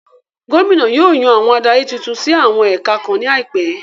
Gómìnà yóò yàn àwọn adarí titun sí àwọn ẹ̀ka kan ní àìpẹ